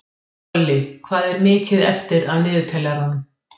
Olli, hvað er mikið eftir af niðurteljaranum?